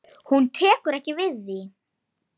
Meira til koma.